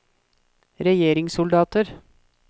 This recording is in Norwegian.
regjeringssoldater